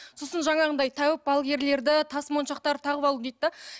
сосын жаңағындай тәуіп балгерлерді тасмоншақтарды тағып алу дейді де